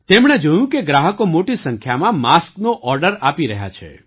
તેમણે જોયું કે ગ્રાહકો મોટી સંખ્યામાં માસ્કનો ઑર્ડર આપી રહ્યા છે